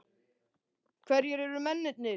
Hverjir eru mennirnir?